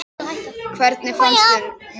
Hvernig fannst mér það?